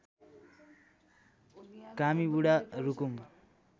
Kami Budha Rukum